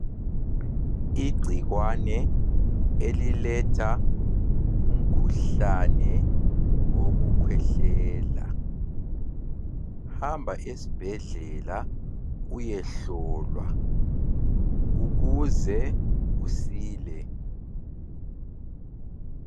Igcikwane eliletha umkhuhlane wokukhwehlela .Hamba esibhedlela uyehlolwa ukuze usile.